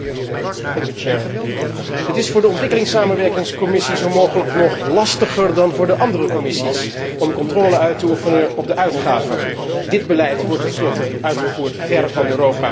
Het is voor de Commissie ontwikkelingssamenwerking zo mogelijk nog lastiger dan voor de andere commissies om controle uit te oefenen op de uitgaven. Dit beleid wordt ten slotte uitgevoerd ver van Europa.